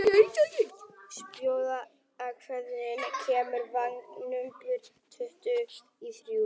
Spói, hvenær kemur vagn númer tuttugu og þrjú?